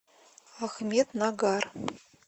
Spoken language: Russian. ахмеднагар